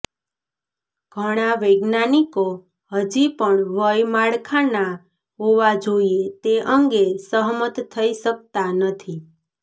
ઘણા વૈજ્ઞાનિકો હજી પણ વય માળખાના હોવા જોઈએ તે અંગે સહમત થઈ શકતા નથી